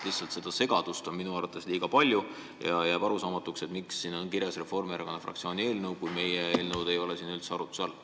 Seda segadust on minu arvates liiga palju ja jääb arusaamatuks, et miks siin on kirjas "Reformierakonna fraktsiooni eelnõu", kui meie eelnõu ei ole siin üldse arutluse all.